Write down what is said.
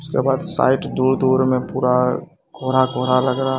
उसके बाद साइट दूर-दूर में पूरा कोहरा-कोहरा लग रा --